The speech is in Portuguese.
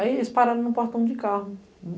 Aí, eles pararam no portão de carro.